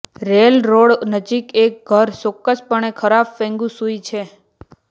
railroad નજીક એક ઘર ચોક્કસપણે ખરાબ ફેંગ શુઇ છે